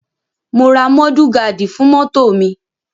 Mo ra mọ́dù gaádì fún mọ́tò mi.